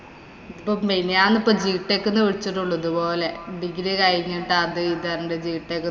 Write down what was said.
ഞാനിപ്പം gtech ന്ന് വിളിച്ചിട്ടുള്ളൂ ഇതുപോലെ. degree കഴിഞ്ഞിട്ട് അത് ഇത് എന്ത് gtech